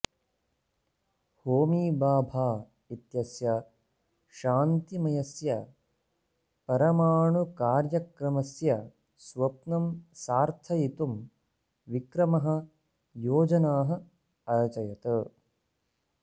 होमी भाभा इत्यस्य शान्तिमयस्य परमाणुकार्यक्रमस्य स्वप्नं सार्थयितुं विक्रमः योजनाः अरचयत्